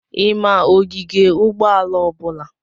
I ma ogige ụgbọala ọbụla?